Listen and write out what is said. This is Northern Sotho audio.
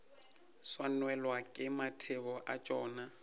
swanelwa ke mathebo a tšona